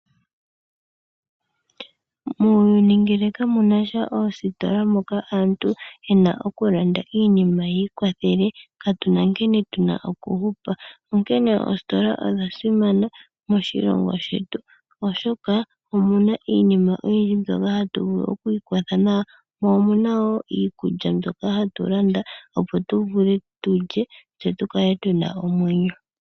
Muuyuni ngele kamuna sha oositola moka aantu yena okulanda iinima yi ikwathele katuna nkene tu na okuhupa. Onkene oositola odha simana moshilongo shetu oshoka omuna iinima oyindji mbyoka hatu vulu oku ikwatha nayo, mo omuna wo iikulya mbyoka hatu landa opo tu vule tu lye tse tu kale tuna omwenyo.